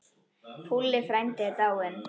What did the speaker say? Púlli frændi er dáinn.